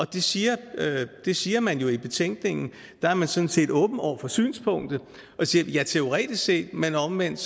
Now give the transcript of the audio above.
det siger det siger man jo i betænkningen der er man sådan set åben over for synspunktet og siger teoretisk set men omvendt